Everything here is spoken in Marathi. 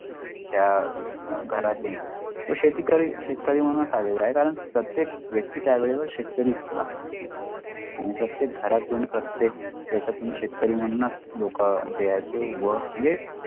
त्या घरातून शेती करील शेतकरी म्हणून च आलेला आहे कारण प्रत्येक व्यक्ती त्यावेळेवर शेतकरी असतात आणि प्रतक घरातून प्रतक देशातून शेतकरी मणनास लोका द्यायचे व यली